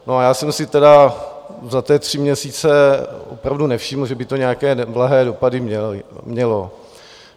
No a já jsem si tedy za ty tři měsíce opravdu nevšiml, že by to nějaké neblahé dopady mělo.